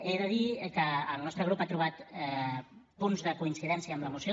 he de dir que el nostre grup ha trobat punts de coincidència amb la moció